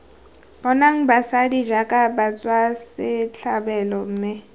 boneng basadi jaaka batswasetlhabelo mme